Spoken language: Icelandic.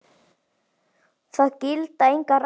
Það gilda engar reglur.